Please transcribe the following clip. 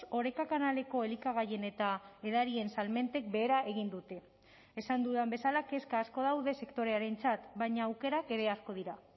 oreka kanaleko elikagaien eta edarien salmentek behera egin dute esan dudan bezala kezka asko daude sektorearentzat baina aukerak ere asko dira